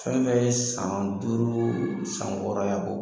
Fɛn fɛn ye san duuru san wɔɔrɔ ye a b'o bɔ.